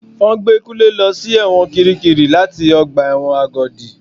Wọ́n gbé Kunle lọ sí ẹ̀wọ̀n kirikiri láti ọgbà ẹ̀wọ̀n Agodi.